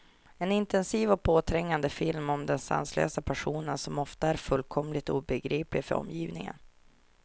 En intensiv och påträngande film om den sanslösa passionen, som ofta är fullkomligt obegriplig för omgivningen.